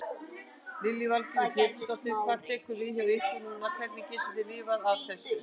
Lillý Valgerður Pétursdóttir: Hvað tekur við hjá ykkur núna, hvernig getið þið lifað af þessu?